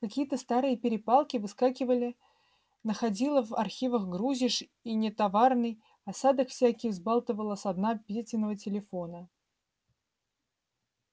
какие-то старые перепалки выскакивали находило в архивах грузишь и нетоварный осадок всякий взбалтывало со дна петиного телефона